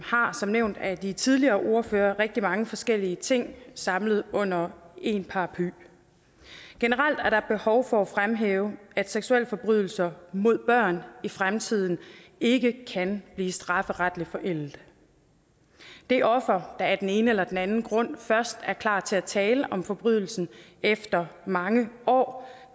har som nævnt af de tidligere ordførere rigtig mange forskellige ting samlet under én paraply generelt er der behov for at fremhæve at seksualforbrydelser mod børn i fremtiden ikke kan blive strafferetligt forældet det offer der af den ene eller anden grund først er klar til at tale om forbrydelsen efter mange år